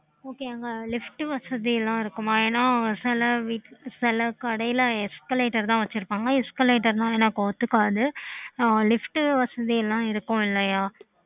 okay